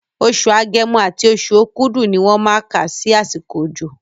Oṣù Agẹmọ àti oṣù Okúdù ni wọ́n má kà sí àsìkò òjò